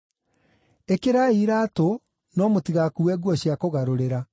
Ĩkĩrai iraatũ no mũtigakuue nguo cia kũgarũrĩra.